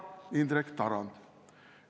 – Indrek Tarand.